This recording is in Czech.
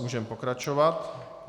Můžeme pokračovat.